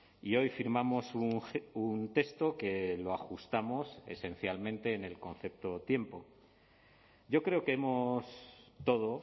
y hoy firmamos un texto que lo ajustamos esencialmente en el concepto tiempo yo creo que hemos todo